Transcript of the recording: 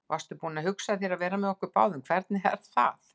Varstu þá búin að hugsa þér að vera með okkur báðum, hvernig er það?